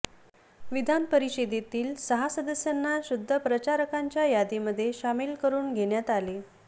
विधान परिषदेतील सहा सदस्यांना सुद्ध प्रचारकांच्या यादीमध्ये शामिल करून घेण्यात आले